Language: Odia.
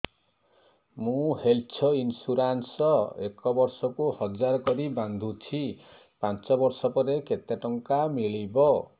ମୁ ହେଲ୍ଥ ଇନ୍ସୁରାନ୍ସ ଏକ ବର୍ଷକୁ ହଜାର କରି ବାନ୍ଧୁଛି ପାଞ୍ଚ ବର୍ଷ ପରେ କେତେ ଟଙ୍କା ମିଳିବ